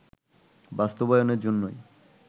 বাস্তবায়নের জন্যই